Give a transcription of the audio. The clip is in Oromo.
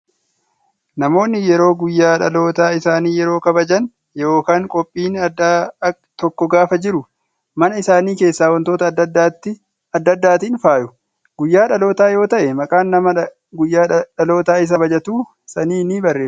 Namoonni yeroo guyyaa dhaloota isaanii yeroo kabajaan yookaan qophiin addaa tokko gaafa jiru, mana isaanii keessa wantoota adda addaatiin faayu. Guyyaa dhalootaa yoo ta'e, maqaan nama guyyaa dhaloota isaa kabajatu sanii ni barreeffama.